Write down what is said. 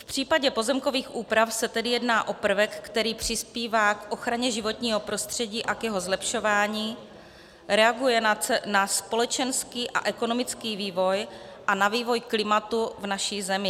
V případě pozemkových úprav se tedy jedná o prvek, který přispívá k ochraně životního prostředí a k jeho zlepšování, reaguje na společenský a ekonomický vývoj a na vývoj klimatu v naší zemi.